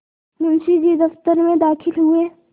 मुंशी जी दफ्तर में दाखिल हुए